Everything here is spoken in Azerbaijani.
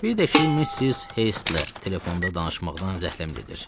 Bir də ki, Missis Heystlə telefonda danışmaqdan zəhləm gedir.